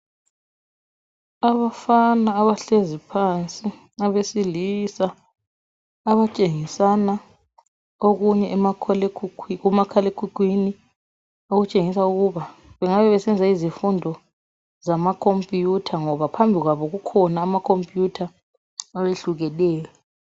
abafana abahlezi phansi abesilisa abatshengisana okunye emakhala ekhukhwini okutshengisa ukuba bengabe besenza izifundo zama computer ngoba phambi kwabo kukhona ama computer ayehlukeneyo